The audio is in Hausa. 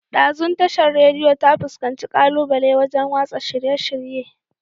Ɗazun Tashar Radiyo ta fuskanci ƙalubale wajan watsa shirye-shirye